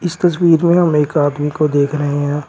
इस तस्वीर में हम एक आदमी को देख रहे हैं।